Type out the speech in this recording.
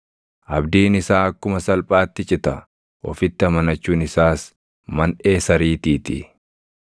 Abdiin isaa akkuma salphaatti cita; ofitti amanachuun isaas manʼee sariitii ti.